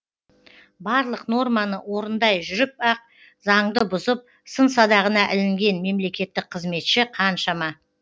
барлық норманы орындай жүріп ақ заңды бұзып сын садағына ілінген мемлекеттік қызметші қаншама